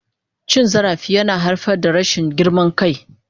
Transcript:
Cin zarafi yana haifar da rashin girman kai.